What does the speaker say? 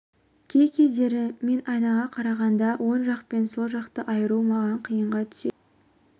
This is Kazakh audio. кей кездері мен айнаға қарағанда оң жақпен сол жақты айыру маған қиынға түседі